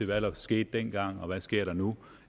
hvad der skete dengang og hvad der sker nu